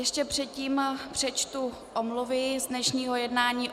Ještě předtím přečtu omluvy z dnešního jednání.